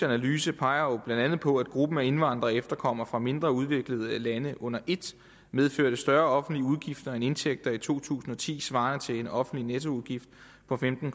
analyse peger på blandt andet på at gruppen af indvandrere og efterkommere fra mindre udviklede lande under et medførte større offentlige udgifter end indtægter i to tusind og ti svarende til en offentlig nettoudgift på femten